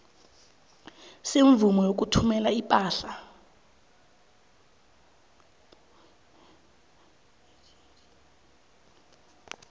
semvumo yokuthumela ipahla